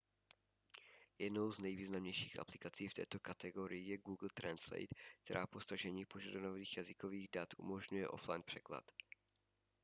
jednou z nejvýznamnějších aplikací v této kategorii je google translate která po stažení požadovaných jazykových dat umožňuje offline překlad